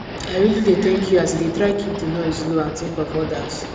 i really dey thank you as you dey try keep the noise low and think of others